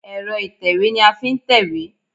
Ẹ̀rọ ìtẹ̀wé ni a fi ń tẹ̀wé.